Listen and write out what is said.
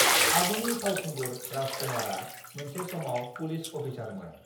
आगुनि फावखुंगुर राज कुमारआ मोनसे समाव पुलिस अफिसारमोन